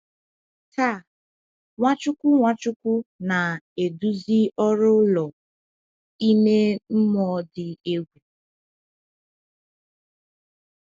Taa, Nwachukwu Nwachukwu na-eduzi ọrụ ụlọ ime mmụọ dị egwu.